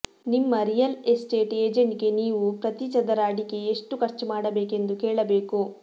ನಿಮ್ಮ real estate ಏಜೆಂಟ್ಗೆ ನೀವು ಪ್ರತಿ ಚದರ ಅಡಿಗೆ ಎಷ್ಟು ಖರ್ಚು ಮಾಡಬೇಕೆಂದು ಕೇಳಬೇಕು